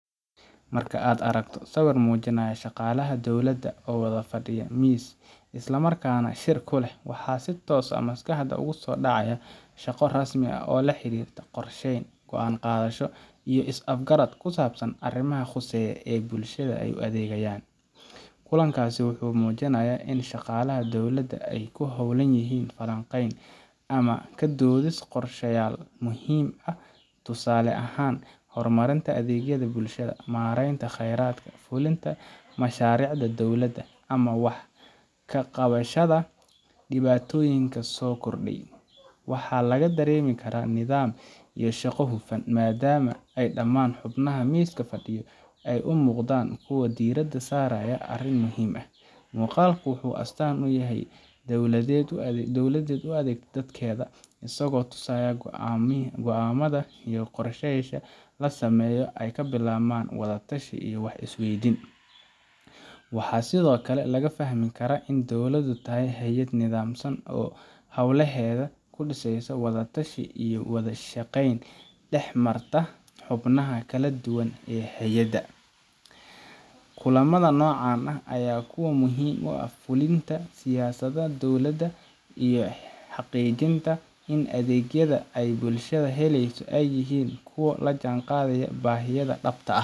Marka ad argtoh siwir oo mujinayo shaqalah dowlada oo wada fadiya mis islamarkana shirkulah wax sii toosh ah, maskaxda ogu sodacaya, shaqo rasmi ah oo la xirtoh qorsahan goan qadasho iyo is afkarad ku sabsan arimaha qusayoh, aa bulshada ay u adigayan, kulankasi wuxu mujiraya in shaqalaha dowlada in a ku howlanyihin falanqan ama ka dodis qorshan oo muhiim ah, toosali ahan hormarinta adigyada bulshda ama maranta qaradka fulinta masharicda dowlada, ama wax ka qawashada diwatoyinka sogordiyah, wax lagayaba laga daramikarah nadam iyo shaqo hudsan madama ay daman xumnaha miska fadiyo ay umuqadan kuwa dirada sarayo arin muhiim ah, muqalka wuxu astan uyahay dowlad dowlada u adogtoh dadkada asago tusahyoh goo amo gamada iyo qorshantas la samayo, aya ka bilawan wada tashi iyo wax iswayditan wax side okle laga fahmi kara in dowlada ay tahay xayad nadamsan oo holahada ku disasoh wada tashi iyo wada shaqan dax martah xubnaha kale dugan aa hayada, kulamadan nocan ah aya kuwa muhiim u ah fulinta siya sada dowlada iyo xaqijinta adag ya ad ay bulshad halaysoh ay yelin kuwa la jan qadayo baxiyada dhib ta ah.